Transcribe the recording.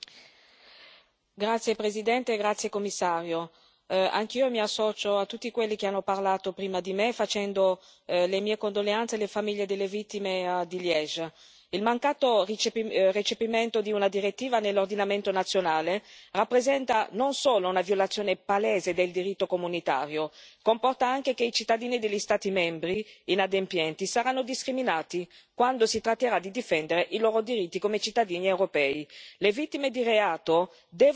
Signor Presidente, onorevoli colleghi, Commissario, anch'io mi associo a tutti quelli che hanno parlato prima di me, facendo le mie condoglianze alle famiglie delle vittime di Liegi. Il mancato recepimento di una direttiva nell'ordinamento nazionale rappresenta non solo una violazione palese del diritto comunitario, ma comporta anche che i cittadini degli Stati membri inadempienti saranno discriminati quando si tratterà di difendere i loro diritti come cittadini europei.